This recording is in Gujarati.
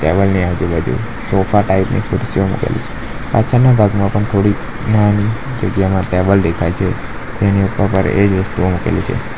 ટેબલ ની આજુબાજુ સોફા ટાઈપ ખુરશીઓ મૂકેલી છે પાછળના ભાગમાં પણ થોડી જગ્યામાં ટેબલ દેખાય છે જેની ઉપર પણ એજ વસ્તુઓ મૂકેલી છે.